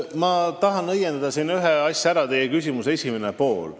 Ma tahan siin ühe asja ära õiendada, see puudutab teie küsimuse esimest poolt.